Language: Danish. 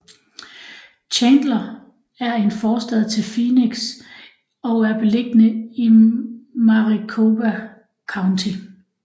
Chandler er en forstad til Phoenix og er beliggende i Maricopa County